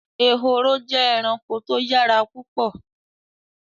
Ehoro jẹ́ ẹranko tó yára púpọ̀